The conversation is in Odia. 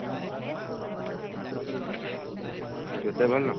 କେତେ ପଡିଲା?